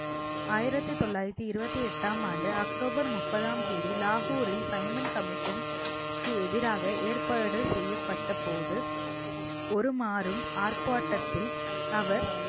ஆயிரத்தி தொள்ளாயிரத்தி இருபத்தி எட்டாம் ஆண்டு அக்டோபர் முப்பதாம் தேதி லாகூரில் சைமன் commission க்கு எதிராக ஏற்பாடு செய்யப்பட்ட போது ஒரு மாறும் ஆர்ப்பாட்டத்தில் அவர்